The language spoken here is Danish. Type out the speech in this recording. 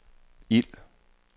ild